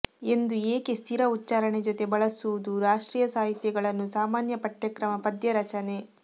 ಎಂದು ಏಕೆ ಸ್ಥಿರ ಉಚ್ಚಾರಣೆ ಜೊತೆ ಬಳಸುವುದು ರಾಷ್ಟ್ರೀಯ ಸಾಹಿತ್ಯಗಳನ್ನು ಸಾಮಾನ್ಯ ಪಠ್ಯಕ್ರಮ ಪದ್ಯ ರಚನೆ